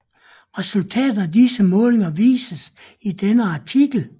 Resultaterne af disse målinger vises i denne artikel